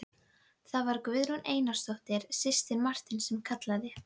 Það var Guðrún Einarsdóttir, systir Marteins sem kallaði.